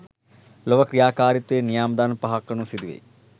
ලොව ක්‍රියාකාරිත්වය නියාම ධර්ම පහක් අනුව සිදුවෙයි.